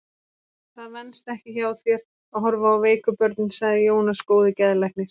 Það venst ekki hjá þér að horfa á veiku börnin, sagði Jónas góði geðlæknir.